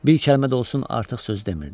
Bir kəlmə də olsun artıq söz demirdi.